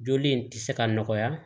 Joli in tɛ se ka nɔgɔya